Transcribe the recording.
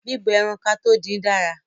Bíbọ ẹran kátó dín dára.